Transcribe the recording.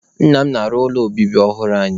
Nna m na-arụ ụlọ obibi ọhụrụ anyị